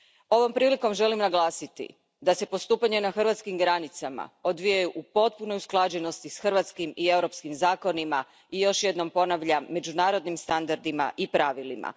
Ovom prilikom želim naglasiti da se postupanje na hrvatskim granicama odvija u potpunoj usklađenosti s hrvatskim i europskim zakonima i još jednom ponavljam, međunarodnim standardima i pravilima.